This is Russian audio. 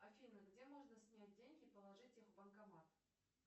афина где можно снять деньги положить их в банкомат